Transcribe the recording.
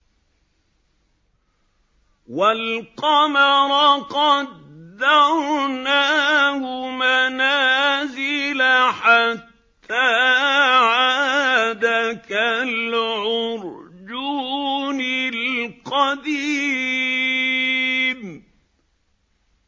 وَالْقَمَرَ قَدَّرْنَاهُ مَنَازِلَ حَتَّىٰ عَادَ كَالْعُرْجُونِ الْقَدِيمِ